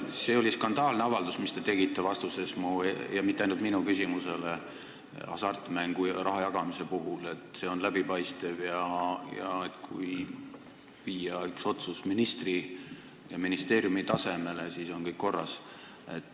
See oli skandaalne avaldus, mis te tegite vastuses minu – ja mitte ainult minu – küsimusele hasartmänguraha jagamise kohta, et see on läbipaistev, kui viia otsustamine ministri ja ministeeriumi tasemele, et siis on kõik korras.